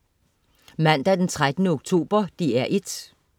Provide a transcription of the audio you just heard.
Mandag den 13. oktober - DR 1: